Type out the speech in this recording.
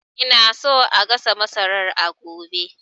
Ina so a gasa masarar a gobe